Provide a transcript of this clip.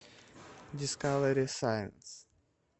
дискавери сайнс